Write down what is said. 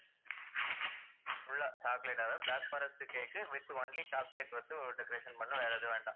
full ah chocolate அதாவது black forest cake uh with only chocolate வந்து ah decoration பண்ணனும். வேற எதுவும் வேண்டாம்.